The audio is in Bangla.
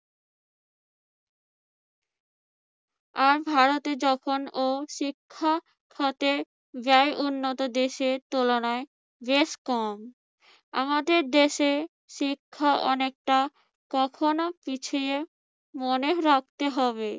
আর ধরাতে যখন ও শিক্ষক হতে যায় উন্নত দেশের তুলনায় বেশ কম। আমাদের দেশে শিক্ষা অনেকটা কখনো পিছিয়ে মনে রাখতে হবে।